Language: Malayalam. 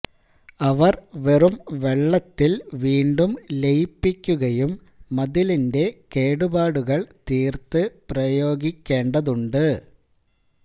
അവർ വെറും വെള്ളത്തിൽ വീണ്ടും ലയിപ്പിക്കുകയും മതിലിന്റെ കേടുപാടുകൾ തീർത്ത് പ്രയോഗിക്കേണ്ടതുണ്ട്